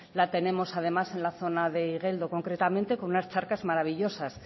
la tenemos además en la zona de igeldo concretamente con unas charcas maravillosas